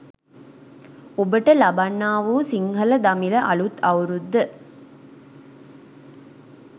ඔබට ලබන්නා වූ සිංහල දමිළ අළුත් අවුරුද්ද